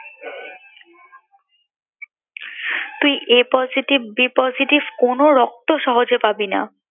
তুই a positive, b positive কোনো রক্তই সহজে পাবি না